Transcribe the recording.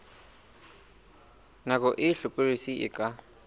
nako e hlokolosi e ka